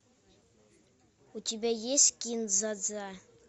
у тебя есть кин дза дза